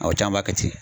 Aw caman b'a kɛ ten